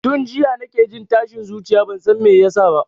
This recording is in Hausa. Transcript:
Tun jiya nake jin tashin zuciya bansan me yasa ba